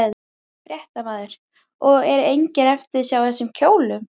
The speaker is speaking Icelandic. Fréttamaður: Og er engin eftirsjá af þessum kjólum?